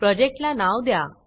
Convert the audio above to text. प्रोजेक्टला नाव द्या